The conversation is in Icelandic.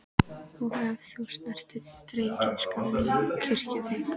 Og ef þú snertir drengina skal ég kyrkja þig.